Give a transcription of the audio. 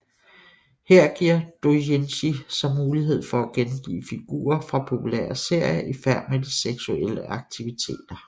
Her giver doujinshi så mulighed for at gengive figurer fra populære serier i færd med seksuelle aktiviteter